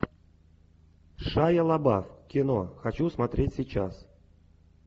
шайа лабаф кино хочу смотреть сейчас